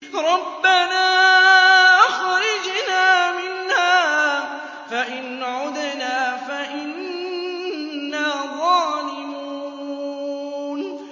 رَبَّنَا أَخْرِجْنَا مِنْهَا فَإِنْ عُدْنَا فَإِنَّا ظَالِمُونَ